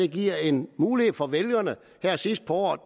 giver en mulighed for vælgerne her sidst på året